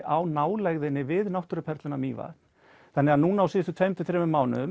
á nálægðinni við náttúruperluna Mývatn þannig að núna á síðustu tveimur til þremur mánuðum